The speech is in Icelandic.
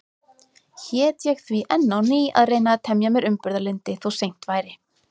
Hét ég því enn á ný að reyna að temja mér umburðarlyndi, þó seint væri.